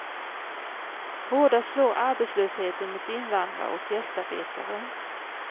Hårdast slår arbetslösheten mot invandrare och gästarbetare.